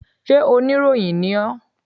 Sé oníròyìn ni ọ́?